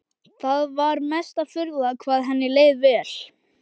Það var mesta furða hvað henni leið vel.